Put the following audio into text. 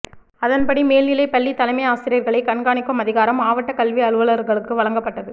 அதன்படி மேல்நிலைப் பள்ளி தலைமை ஆசிரியர்களை கண்காணிக்கும் அதிகாரம் மாவட்டக் கல்வி அலுவலர்களுக்கு வழங்கப்பட்டது